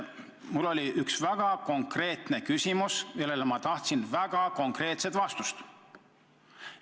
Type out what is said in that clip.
Mul oli väga konkreetne küsimus, millele ma tahtsin väga konkreetset vastust.